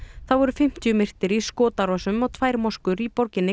þá voru fimmtíu myrtir í skotárásum á tvær moskur í borginni